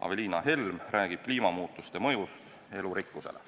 Aveliina Helm räägib kliimamuutuste mõjust elurikkusele.